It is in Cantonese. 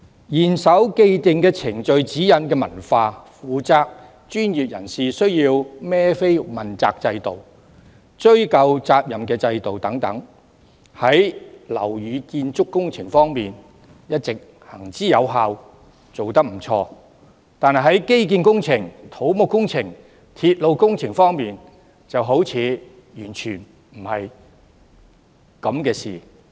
嚴守既定程序指引的文化、負責的專業人士需要問責的制度，以及追究責任的制度等，在樓宇建築工程方面一直行之有效，做得不錯，但在建基工程、土木工程和鐵路工程方面，卻好像完全無效。